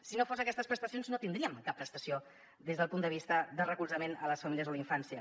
si no fos per aquestes prestacions no tindríem cap prestació des del punt de vista de recolzament a les famílies o a la infància